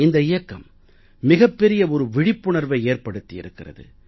இந்த இயக்கம் மிகப் பெரிய ஒரு விழிப்புணர்வை ஏற்படுத்தி இருக்கிறது